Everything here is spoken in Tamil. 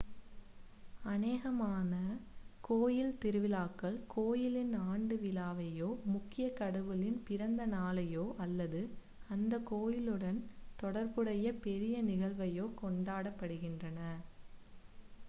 அநேகமான கோயில் திருவிழாக்கள் கோயிலின் ஆண்டு விழாவையோ முக்கிய கடவுளின் பிறந்த நாளையோ அல்லது அந்த கோயிலுடன் தொடர்புடைய பெரிய நிகழ்வையோ கொண்டாடுகின்றன